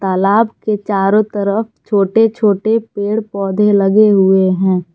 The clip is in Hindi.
तालाब के चारों तरफ छोटे छोटे पेड़ पौधे लगे हुए हैं।